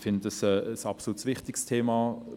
Ich finde es ein absolut wichtiges Thema.